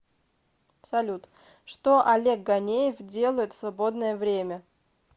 салют что олег ганеев делает в свободное время